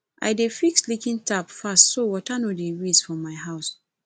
i dey fix leaking tap fast so water no go waste for house